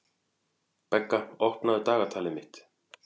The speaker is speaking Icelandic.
Begga, opnaðu dagatalið mitt.